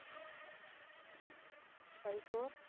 five four